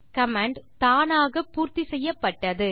command தானாக பூர்த்தி செய்யப்பட்டது